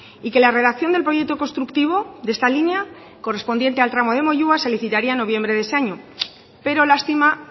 y que la redacción del proyecto constructivo de esta línea correspondiente al tramo de moyua se licitaría en noviembre de ese año pero lástima